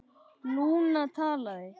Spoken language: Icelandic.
Lúna talaði: